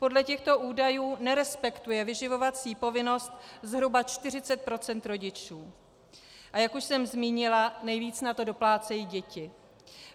Podle těchto údajů nerespektuje vyživovací povinnost zhruba 40 % rodičů, a jak už jsem zmínila, nejvíc na to doplácejí děti.